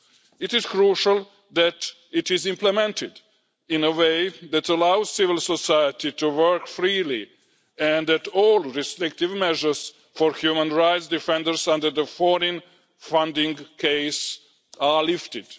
It is crucial that it is implemented in a way that allows civil society to work freely and that all restrictive measures for human rights defenders under the foreign funding case are lifted.